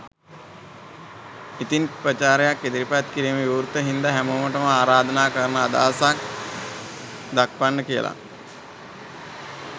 ඉතින් විචාරයක් ඉදිරිපත් කිරීම විවෘත හින්දා හැමෝටම ආරාධනා කරනවා අදහසක් දක්වන්න කියලා